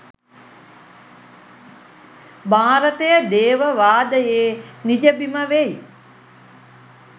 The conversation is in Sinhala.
භාරතය දේව වාදයේ නිජබිම වෙයි.